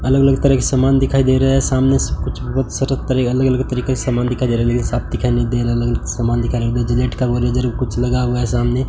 अलग अलग तरह के समान दिखाई दे रहा है सामने से कुछ बहोत अलग अलग तरीके से समान दिखाई दे रहा लेकिन साफ दिखाई नहीं दे रहा अलग अलग समान दिखाई जिलेट का वो रेजर कुछ लगा हुआ है सामने--